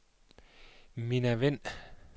Minna Wind